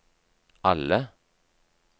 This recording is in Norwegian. alle